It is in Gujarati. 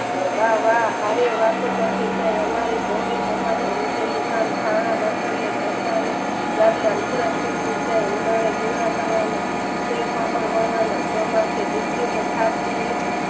બા વા હારે વાતું કરતી જાય અમારી સંગી કામાતની નીચેનું નું કામ છાણ બળતણ ને ઘર કામ ગામના લૂગડાં સીવતી જાય ગોદડાં કરવાના સેન પાપડ વણવાના ચોમાસે ડિક્તિ અને ડયને